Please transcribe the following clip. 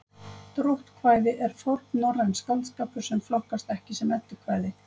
Dróttkvæði er fornnorrænn skáldskapur sem flokkast ekki sem eddukvæði.